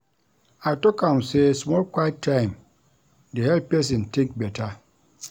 I tok am sey small quiet time dey help pesin tink better.